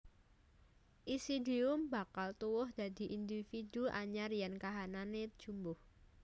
Isidium bakal tuwuh dadi individu anyar yèn kahanané jumbuh